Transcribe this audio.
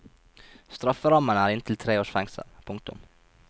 Strafferammen er inntil tre års fengsel. punktum